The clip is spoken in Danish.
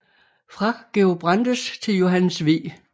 Fra Georg Brandes til Johannes V